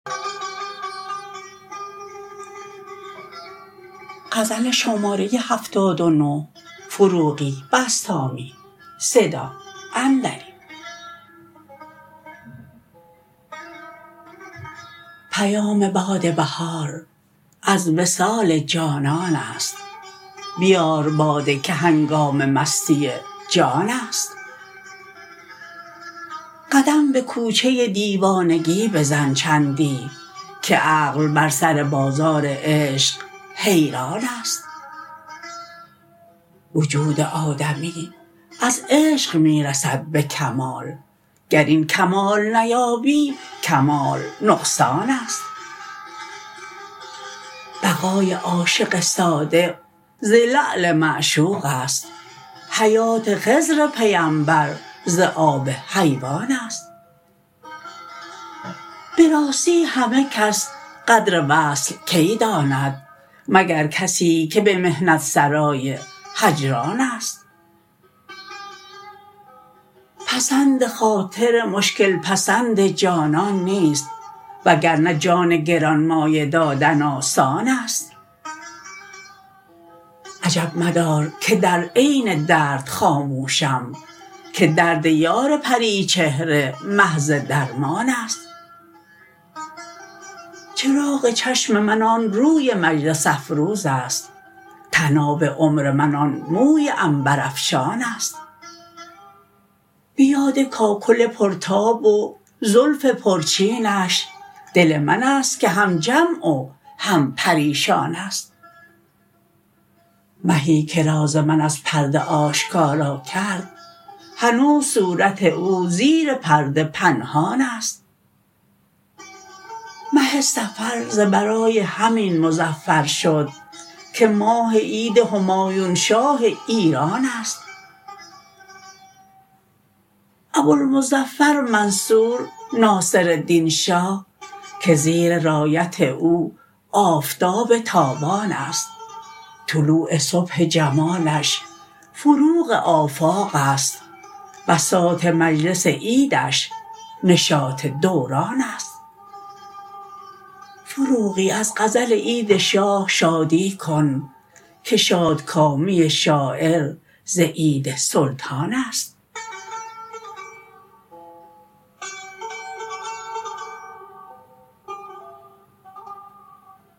پیام باد بهار از وصال جانان است بیار باده که هنگام مستی جان است قدم به کوچه دیوانگی بزن چندی که عقل بر سر بازار عشق حیران است وجود آدمی از عشق می رسد به کمال گر این کمال نیابی کمال نقصان است بقای عاشق صادق ز لعل معشوق است حیات خضر پیمبر ز آب حیوان است به راستی همه کس قدر وصل کی داند مگر کسی که به محنت سرای هجران است پسند خاطر مشکل پسند جانان نیست وگر نه جان گران مایه دادن آسان است عجب مدار که در عین درد خاموشم که درد یار پری چهره محض درمان است چراغ چشم من آن روی مجلس افروز است طناب عمر من آن موی عنبر افشان است به یاد کاکل پر تاب و زلف پر چینش دل من است که هم جمع و هم پریشان است مهی که راز من از پرده آشکارا کرد هنوز صورت او زیر پرده پنهان است مه صفر ز برای همین مظفر شد که ماه عید همایون شاه ایران است ابوالمظفر منصور ناصرالدین شاه که زیر رایت او آفتاب تابان است طلوع صبح جمالش فروغ آفاق است بساط مجلس عیدش نشاط دوران است فروغی از غزل عید شاه شادی کن که شادکامی شاعر ز عید سلطان است